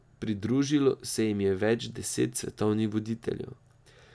Pridružilo se jim je več deset svetovnih voditeljev.